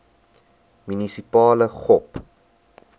munisipale gop